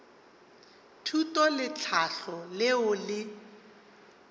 thuto le tlhahlo leo le